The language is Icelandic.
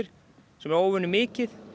sem er óvenju mikið